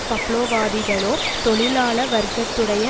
பப்லோவாதிகளோ தொழிலாள வர்க்கத்துடைய